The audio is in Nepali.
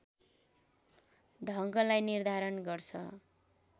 ढङ्गलाई निर्धारण गर्छ।